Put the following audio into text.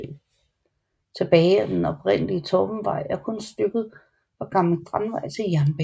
Tilbage af den oprindelige Torpenvej er kun stykket fra Gammel Strandvej til jernbanen